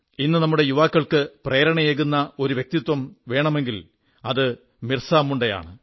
ഇന്ന് നമ്മുടെ യുവാക്കൾക്ക് പ്രേരണയേകുന്ന ഒരു വ്യക്തിത്വം വേണമെങ്കിൽ അത് ബിർസാമുണ്ട ആണ്